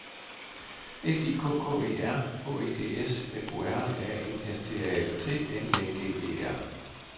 S I K K E R H E D S F O R A N S T A L T N I N G E R